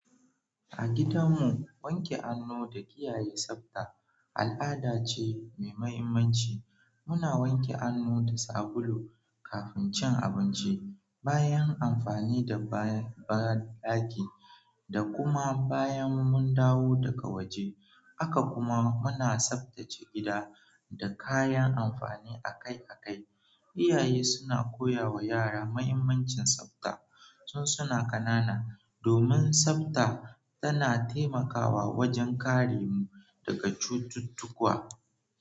A gidanmu, wanke hannu da kiyaye tsabta al'ada ce mai mahimmanci. Muna wanke hannu da sabulu kafin cin abinci, bayan amfani da banɗaki, da kuma bayan mun dawo daga waje. Haka kuma muna tsaftace gida da kayan amfani akai-akai. Iyaye suna koya wa yara mahimmancin tsafta tun suna ƙanana, domin tsafta tana taimakawa wajen kare mu daga cututtuka.